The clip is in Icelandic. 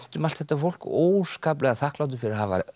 um allt þetta fólk óskaplega þakklátur fyrir að hafa